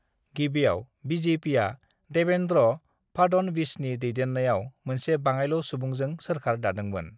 गिबिआव बि.जे.पिआ देवेन्द्र फाडणवीसनि दैदेन्नायाव मोनसे बाङायल' सुबुंजों सोरखार दादोंमोन।